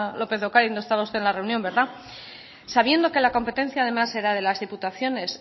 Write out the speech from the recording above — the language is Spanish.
lópez de ocariz no estaba usted en la reunión verdad sabiendo que la competencia además de las diputaciones